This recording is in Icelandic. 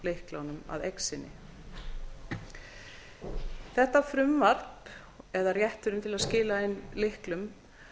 lyklunum að eign sinni þetta frumvarp eða rétturinn til að skila inn lyklum